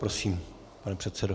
Prosím, pane předsedo.